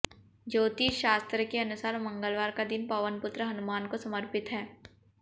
ज्योतिष शास्त्र के अनुसार मंगलवार का दिन पवनपुत्र हनुमान को समर्पित है